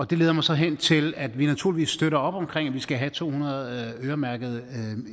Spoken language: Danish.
det leder mig så hen til at vi naturligvis støtter op om at vi skal have to hundrede øremærkede